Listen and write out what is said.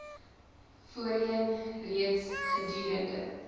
voorheen reeds gedurende